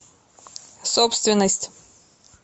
собственность